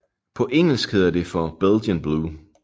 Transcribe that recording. På engelsk kaldes det for Belgian Blue